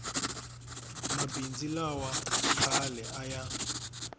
mabindzu lawa khale a ya